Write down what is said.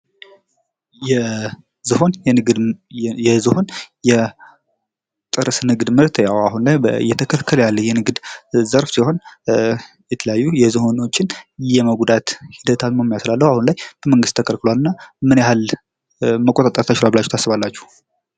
የዝሆን የቅርስ ንግድ ምርት አሁን ላይ እይተከለከለ ያለ የንግድ ዘርፍ ሲሆን የትለያዩ የዝሆኖችን የመጉዳት ሂደት ስላለው አሁን ላይ ተከልክሏል እና ምን ያህል መቆጥጠር ተችልዋል ብላችሁ ታስባላችሁ?